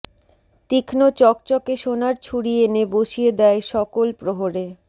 তীক্ষ্ম চকচকে সোনার ছুরি এনে বসিয়ে দেয় সকল প্রহরে